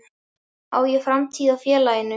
Á ég framtíð hjá félaginu?